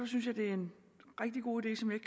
synes jeg det er en rigtig god idé som jeg